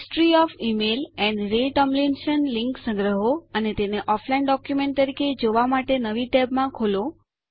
history of email AMP Ray Tomlinson સંગ્રહો અને તેને ઑફલાઇન ડોક્યુમેન્ટ તરીકે જોવા માટે નવી ટેબમાં ખોલો